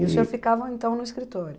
E o senhor ficava, então, no escritório?